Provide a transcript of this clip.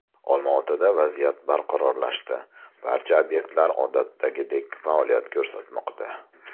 Olmaotada vaziyat barqarorlashdi, barcha obyektlar odatdagidek faoliyat ko‘rsatmoqda.